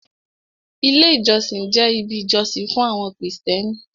Ilé ìjọsìn jẹ́ ibi ìjọsìn fún àwọn krìstẹ́nì.